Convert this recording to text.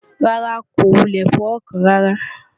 rárá, kò wulẹ̀ fọwọ́ kàn án rárá